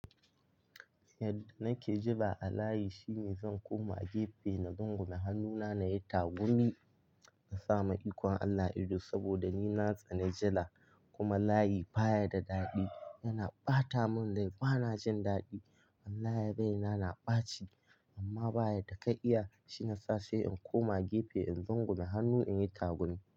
Yadda nake jira a layi shine zan koma gefe na rungume hannuna na yi tagumi na samu ikon Allah ido saboda ni na tsani jira kuma layi baya da daɗi. Yana ɓata mun rai bana jin daɗi. Wallahi rai na, na ɓaci amma ba yadda ka'iya shiyasa sai in koma gefe in rungume hannu in yi tagumi.